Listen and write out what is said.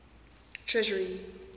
treasury